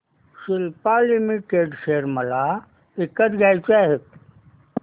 Cipla limited share मला विकत घ्यायचे आहेत